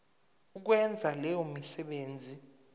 ukwenza leyo misebenzi